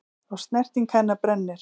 Og snerting hennar brennir.